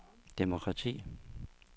demokrati